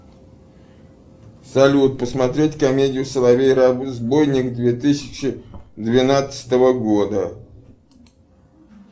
салют посмотреть комедию соловей разбойник две тысячи двенадцатого года